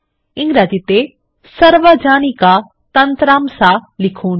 ইংরেজিতে সার্বজনিকা তন্ত্রাংশ লিখুন